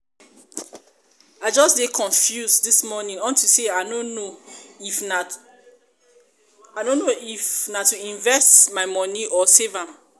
i wan invest my money money into something wey go work